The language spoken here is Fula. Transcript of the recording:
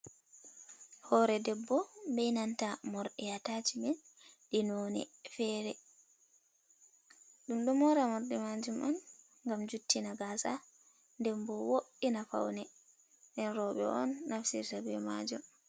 Hore debbo be nanta morɗi atachmen ɗi noni fere. Ɗum ɗo mora morɗi majum on ngam juttina gasa den bo wo'ina paune, en rowɓe on nafsirta be majum.